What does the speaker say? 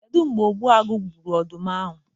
Kedu mgbe Ogbuagu gburu ọdụm ahụ?